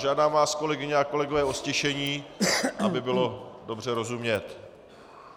Žádám vás, kolegyně a kolegové, o ztišení, aby bylo dobře rozumět.